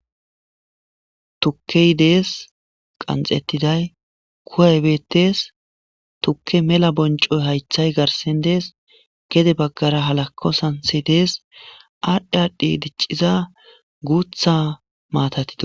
Tuke dee's qanxetidayi kuwayi dees tuke mela bonco,yi hayite garsan dees gede bagara halako santeyi dee,s adhi adhidi guta matati de, osona